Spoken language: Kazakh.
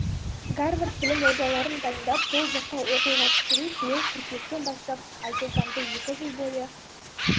гарвард білім ордаларын дайындап сол жаққа оқуға түсіру биыл қыркүйектен бастап айшолпанды екі жыл бойы